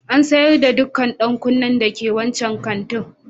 An sayar da dukkan dan kunnen dake wancan kantin.